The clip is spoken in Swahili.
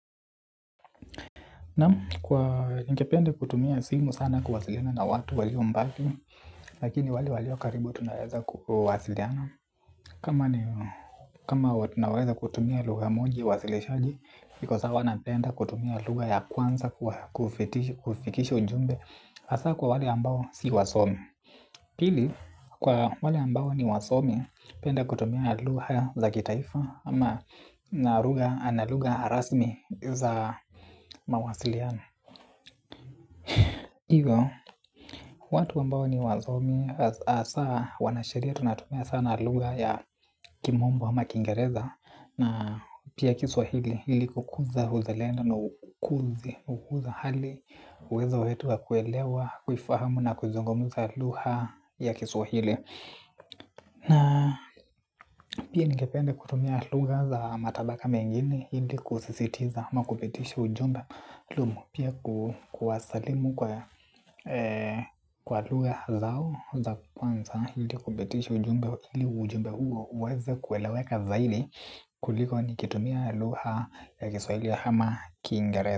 Naam, ningependa kutumia simu sana kuwasiliana na watu walio mbali. Lakini wale walio karibu tunaeza kuwasiliana. Kama watu naweza kutumia lugha moja ya uasilishaji ndiposa huwa napenda kutumia lugha ya kwanza kufikisha ujumbe hasa kwa wale ambao si wasomi pili, kwa wale ambao ni wasomi, penda kutumia lugha za kitaifa ama na lugha rasmi za mawasiliano. Hivyo, watu ambao ni wasomi hasa wanasheria tunatumia sana lugha ya kimombo ama kiingereza. Na pia kiswahili ili kukuza uzalendo na ukuzi. Hukuza hali, uwezo wetu wa kuelewa, kuifahamu na kuzungumuza lugha ya kiswahili. Na pia ningependa kutumia lugha za matabaka mengine ili kusisitiza ama kupitisha ujumbe maalumu. Pia kuwasalimu kwa pia ningependa kutumia lugha za matabaka mengini hili kusisitiza ama kupitishi ujumbe maalum. pia kuwasalimu kwa lugha zao za kwanza ili kupitisha ujumbe huo uweze kueleweka zaidi.